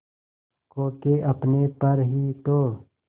खो के अपने पर ही तो